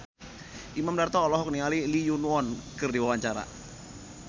Imam Darto olohok ningali Lee Yo Won keur diwawancara